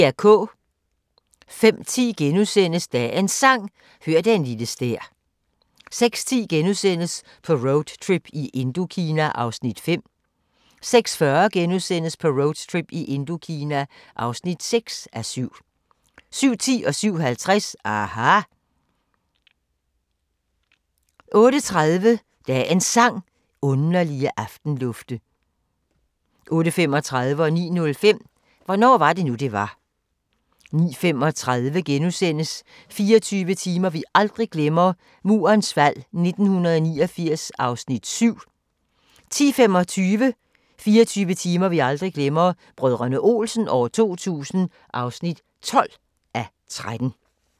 05:10: Dagens Sang: Hør den lille stær * 06:10: På roadtrip i Indokina (5:7)* 06:40: På roadtrip i Indokina (6:7)* 07:10: aHA! 07:50: aHA! 08:30: Dagens Sang: Underlige aftenlufte 08:35: Hvornår var det nu det var. 09:05: Hvornår var det nu det var 09:35: 24 timer vi aldrig glemmer – Murens fald 1989 (7:13)* 10:25: 24 timer vi aldrig glemmer – Brdr. Olsen 2000 (12:13)